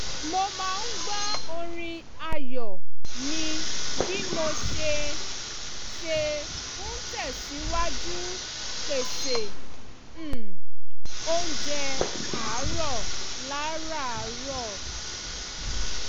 mo máa ń gbọ́ orin ààyò mi bí mo ṣe ṣe ń tẹ̀sìwájú pèsè um oúnjẹ àárọ̀ lárààrọ̀